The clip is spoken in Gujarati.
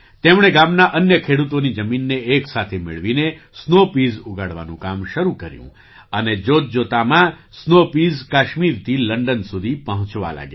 તેમણે ગામના અન્ય ખેડૂતોની જમીનને એક સાથે મેળવીને સ્નૉ પીઝ ઉગાડવાનું કામ શરૂ કર્યું અને જોતજોતામાં સ્નૉ પીઝ કાશ્મીરથી લંડન સુધી પહોંચવા લાગ્યા